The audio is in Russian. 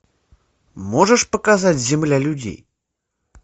можешь показать земля людей